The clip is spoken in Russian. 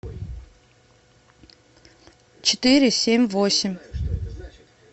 четыре семь восемь